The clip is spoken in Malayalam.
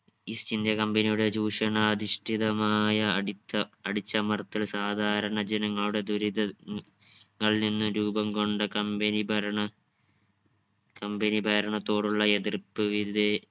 east india company യുടെ ചൂഷണ അധിഷ്ഠിതമായ അടിച്ച അടിച്ചമർത്തൽ സാധാരണ ജനങ്ങളുടെ ദുരിത ഉം ങ്ങളിൽ നിന്ന് രൂപം കൊണ്ട company ഭരണ company ഭരണത്തോടുള്ള എതിർപ്പ് വിദേ